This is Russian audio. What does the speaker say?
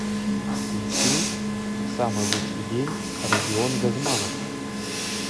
включи самый лучший день родион газманов